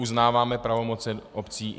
Uznáváme pravomoci obcí.